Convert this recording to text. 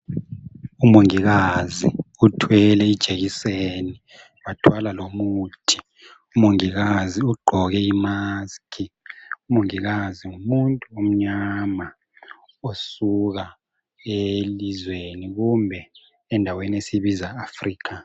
umongikazi uthwele ijekiseni wathwala lomuthi umongikazi ugqoke i musk umongikazi ngumuntu omnyama osuka elizweni kumbe endaweni esiyibiza africa